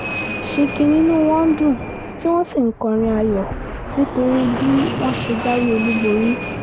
sinkin ni inú wọn ń dùn tí wọ́n sì ń kọrin ayọ̀ nítorí bí wọ́n ṣe jáwé olúborí